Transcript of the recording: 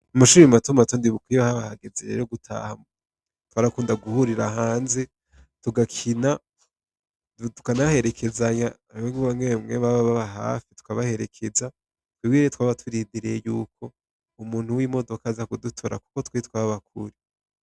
Umashurimi matuma atondibukwiye habahageze rero gutaha twarakunda guhurira hanze ugakina tukanaherekezanya amwegbangewe mwemu aba baba hafi tukabaherekeza twibwireye twaba turidireye yuko umuntu w'imodoka aza kudutora, kuko twiitwabbakuri.